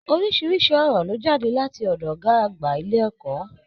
Orisirisi ọ̀rọ̀ lo jade láti ọdọ ọgá àgbà ilé ẹ̀kọ́.